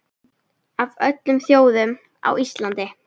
Af öllum þjóðum, á Íslandi?